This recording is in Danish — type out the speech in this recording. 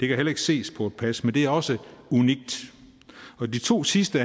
kan heller ikke ses på et pas men det er også unikt og de to sidste